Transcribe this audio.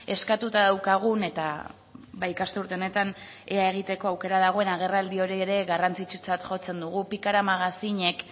eskatuta daukagun eta ikasturte honetan ea egiteko aukera dagoen agerraldi hori ere garrantzitsutzat jotzen dugu pikara magazinek